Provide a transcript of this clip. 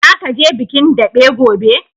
Zaka je bikin daɓe gobe?